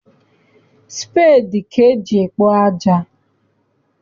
Speedi ka eji ekpo aja.